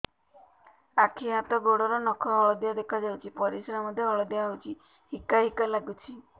ଆଖି ହାତ ଗୋଡ଼ର ନଖ ହଳଦିଆ ଦେଖା ଯାଉଛି ପରିସ୍ରା ମଧ୍ୟ ହଳଦିଆ ହଉଛି ହିକା ହିକା ଲାଗୁଛି